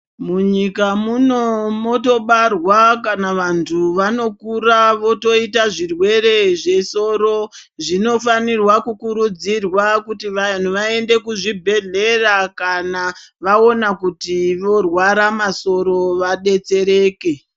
Munyika muno motobaarwa kana vantu vanokura votoita zvirwere zvesoro zvinofanirwa kukuridzirwa kuti vanhu vaende kuzvibhedhlera kana vaona kuti vorwara masoro vadetsereke.